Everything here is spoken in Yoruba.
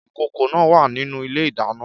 Ìkòkò náà wà nínú ilé-ìdáná